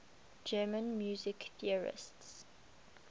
german music theorists